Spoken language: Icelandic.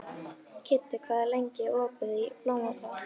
Kiddi, hvað er lengi opið í Blómaborg?